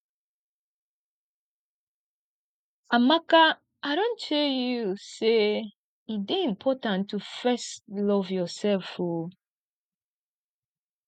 amaka i don tell you sey e dey important to fest love yourself o